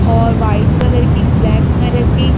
और white colour की black colour की--